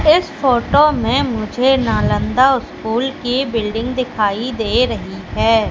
इस फोटो में मुझे नालंदा स्कूल की बिल्डिंग दिखाई दे रही है।